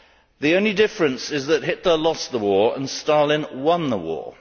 The only difference is that Hitler lost the war and Stalin won the war.